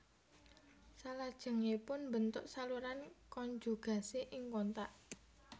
Salajengipun mbentuk saluran konjugasi ing kontak